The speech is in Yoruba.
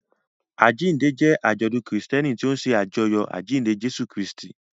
Àjíǹde jẹ́ àjọ̀dún Kristẹni tó ń ṣe àjọyọ̀ àjíǹde Jésù Kristi.